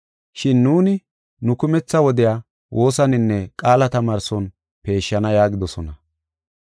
Shin nuuni, nu kumetha wodiya woosaninne qaala tamaarson peeshana” yaagidosona.